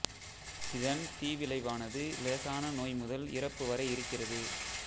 இதன் தீவிளைவானது இலேசான நோய் முதல் இறப்பு வரை இருக்கிறது